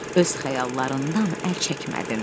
Öz xəyallarından əl çəkmədin.